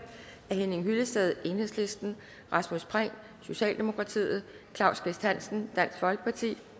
af henning hyllested rasmus prehn claus kvist hansen